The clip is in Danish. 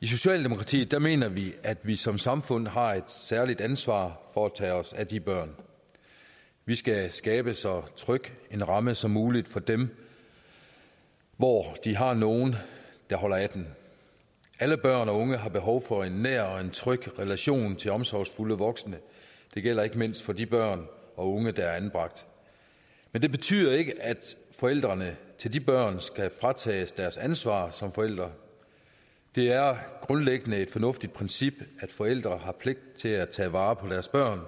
i socialdemokratiet mener vi at vi som samfund har et særligt ansvar for at tage os af de børn vi skal skabe så tryg en ramme som muligt for dem hvor de har nogle der holder af dem alle børn og unge har behov for en nær og en tryg relation til omsorgsfulde voksne det gælder ikke mindst for de børn og unge der er anbragt men det betyder ikke at forældrene til de børn skal fratages deres ansvar som forældre det er grundlæggende et fornuftigt princip at forældre har pligt til at tage vare på deres børn